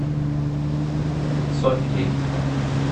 софьей